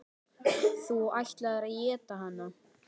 Þú ætlaðir að éta hana.